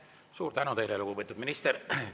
Suur tänu teile, lugupeetud minister!